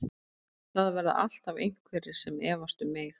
Það verða alltaf einhverjir sem efast um mig.